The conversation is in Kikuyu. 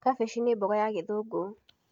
Kabici nĩ mboga ya gĩthũngũ.